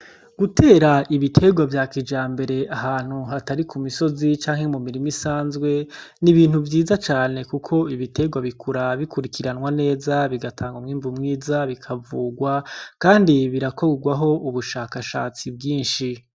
Gutera ibiterwa vyakijambere ahantu hatari ku misozi canke mu mirimi isanzwe ni ibintu vyiza cane, kuko ibiterwa bikura bikurikiranwa neza bigatanga umwimbu mwiza bikavugwa. Kandi birakorwaho ubushakashatsi bwinshi.